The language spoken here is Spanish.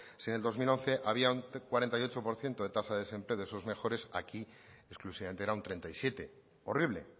si en el dos mil once había un cuarenta y ocho por ciento de tasa de desempleo de esos mejores aquí exclusivamente era un treinta y siete horrible